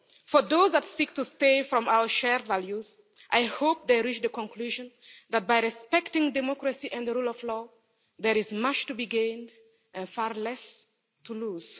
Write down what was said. For those that seek to stray from our shared values, I hope they reach the conclusion that by respecting democracy and the rule of law, there is much to be gained and far less to lose.